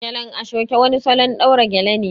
Gelen ashoke wani salon ɗaura gele ne